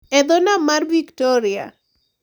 E dho nam mar Victoria,